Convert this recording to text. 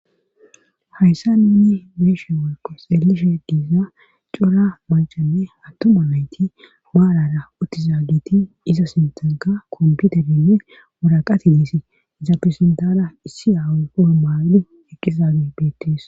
hayssa ninni beeshe warko seelishe giiza cora macanne hattoma nayti baarara uttizagiti iza sintanka komputerinne woraqati disi iza pesendara issi awqoo maali eqqisage beettis